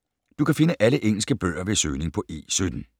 Du kan finde alle engelske bøger ved søgning på E17.